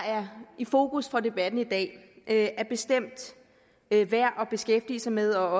i fokus for debatten i dag er bestemt værd værd at beskæftige sig med og